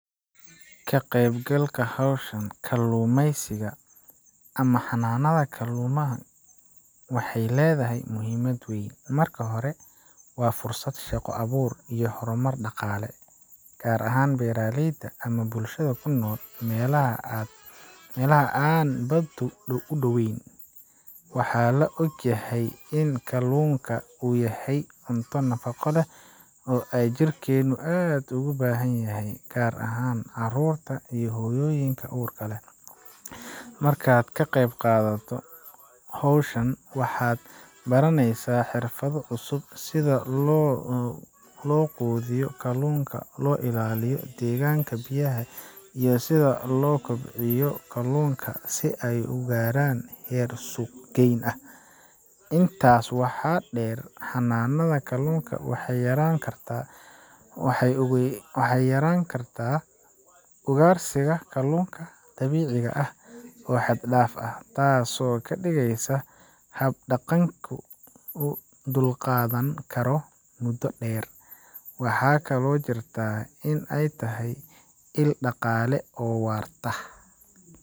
Ka qaybgalka hawshan kalluumaysiga ama xanaanada kalluumaha waxay leedahay muhiimad weyn. Marka hore, waa fursad shaqo abuur iyo horumar dhaqaale, gaar ahaan beeraleyda ama bulshada ku nool meelaha aan baddu u dhowayn. Waxaa la og yahay in kalluunka uu yahay cunto nafaqo leh oo ay jirkeennu aad ugu baahan yahay, gaar ahaan carruurta iyo hooyooyinka uurka leh. Markaad qayb qadato hawshan, waxaad baranaysaa xirfado cusub sida loo quudiyo kalluunka, loo ilaaliyo deegaanka biyaha, iyo sida loo kobciyo kalluunka si ay u gaaraan heer suuq geyn ah. Intaa waxaa dheer, xanaanada kalluunka waxay yarayn kartaa ugaarsiga kalluunka dabiiciga ah oo xad dhaaf ah, taasoo ka dhigaysa hab deegaanku u dulqaadan karo muddo dheer. Waxaa kaloo jirta in ay tahay il dhaqaale oo waarta.